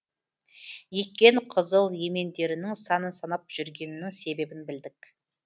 еккен қызыл емендерінің санын санап жүргенінің себебін білдік